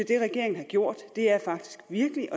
det regeringen har gjort faktisk virkelig